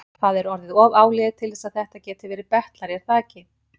Það er orðið of áliðið til þess að þetta gæti verið betlari, er það ekki?